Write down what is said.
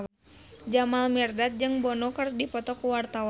Jamal Mirdad jeung Bono keur dipoto ku wartawan